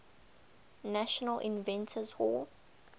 national inventors hall